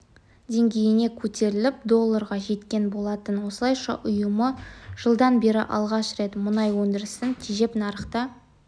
деңгейіне көтеріліп долларға жеткен болатын осылайша ұйымы жылдан бері алғаш рет мұнай өндірісін тежеп нарықта